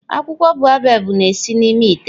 Akwụkwọ baobab na-esi n'ime ite.